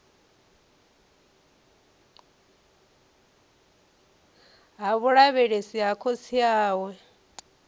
ha vhulavhelesi ha khotsi awe